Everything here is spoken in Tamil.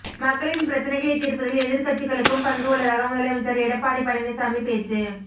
மக்களின் பிரச்சனைகளை தீர்ப்பதில் எதிர்க்கட்சிகளுக்கும் பங்கு உள்ளதாக முதலமைச்சர் எடப்பாடி பழனிசாமி பேச்சு